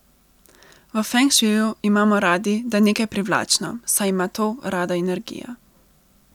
V feng šuiu imamo radi, da je nekaj privlačno, saj ima to rada energija.